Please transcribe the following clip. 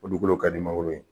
O dugukolo ka di mangoro ye